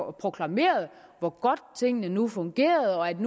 og proklamerede hvor godt tingene nu fungerede og at